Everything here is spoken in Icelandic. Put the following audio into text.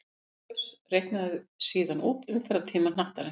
Gauss reiknaði síðan út umferðartíma hnattarins.